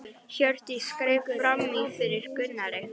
Hjördís greip fram í fyrir Gunnari.